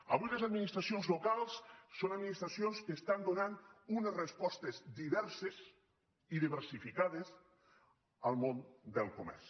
avui les administracions locals són administracions que estan donant unes respostes diverses i diversificades al món del comerç